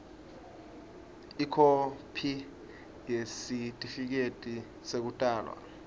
ikhophi yesitifiketi sekutalwa